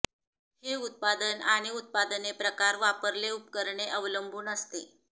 हे उत्पादन आणि उत्पादने प्रकार वापरले उपकरणे अवलंबून असते